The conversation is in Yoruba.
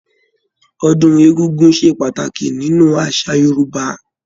Ọdún egúngún ṣe pàtàkì nínú àṣà Yorúbá